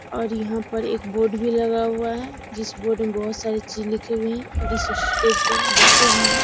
और यहाँ पर एक बोर्ड भी लगा हुआ है जिस बोर्ड में बहुत सारे चीज भी लिखे हुए है और इस स्टेज पे बच्चे भी है।